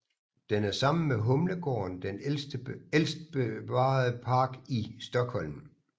Den er sammen med Humlegården den ældste bevarede park i Stockholm